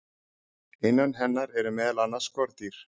innan hennar eru meðal annars skordýr